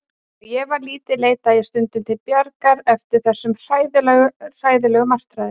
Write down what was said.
Þegar ég var lítil leitaði ég stundum til Bjargar eftir þessar hræðilegu martraðir.